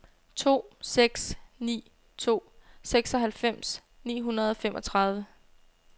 to seks ni to seksoghalvfems ni hundrede og femogtredive